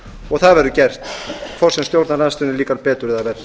og það verður gert hvort sem stjórnarandstöðunni líkar betur eða verr